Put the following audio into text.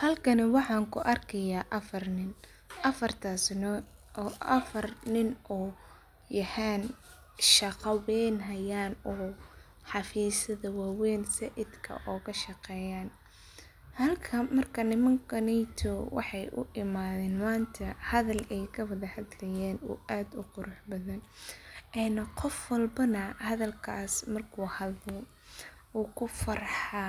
Halkani waxan ku arki haya afar nin, afartasna oo afar nin yahan shaqa weyn hayan oo xafisadha wawen said oga shaqeyan, halkan markan nimankaneto wexee u imathen manta hadhal ee kawadha hadlayen aad u qurux badan ee qof walbana hadhalkas marku hadlo wukufarxa